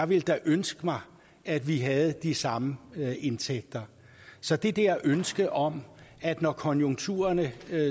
ville da ønske mig at vi havde de samme indtægter så det der ønske om at når konjunkturerne